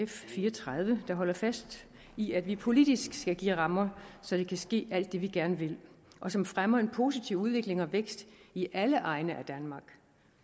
fire og tredive der holder fast i at vi politisk skal give rammer så der kan ske alt det vi gerne vil og som fremmer en positiv udvikling og vækst i alle egne af danmark